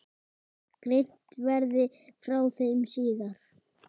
Greint verði frá þeim síðar.